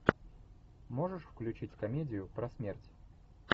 можешь включить комедию про смерть